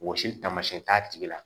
Wɔsili taamasiyɛn t'a tigi la